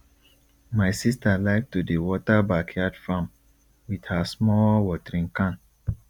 my sister like to dey water backyard farm with her small watering can